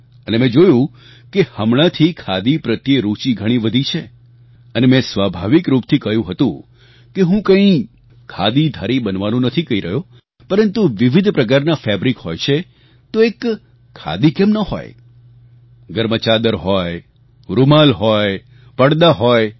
અને મેં જોયું કે હમણાંથી ખાદી પ્રત્યે રૂચી ઘણી વધી છે અને મેં સ્વાભાવિક રૂપથી કહ્યું હતું કે હું કઈ ખાદીધારી બનવાનું નથી કહી રહ્યો પરંતુ વિવિધ પ્રકારના ફેબ્રિક હોય છે તો એક ખાદી કેમ ન હોય ઘરમાં ચાદર હોય રૂમાલ હોય પડદા હોય